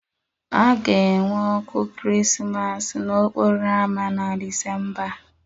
A ga-enwe ọkụ Krismas n'okporo ámá na Disemba a